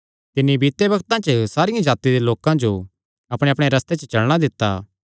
तिन्नी बीते बग्तां च सारियां जातिआं दे लोकां जो अपणेअपणे रस्ते च चलणा दित्ता